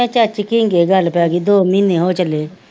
ਚਾਚੀ ਘੀਗੇ ਗੱਲ ਪੈ ਗੀ ਦੋ ਮੀਨੇ ਹੋ ਚੱਲੇ,